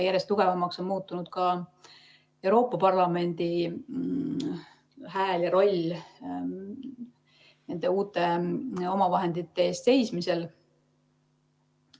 Järjest tugevamaks on muutunud ka Euroopa Parlamendi hääl ja roll uute omavahendite eest seismisel.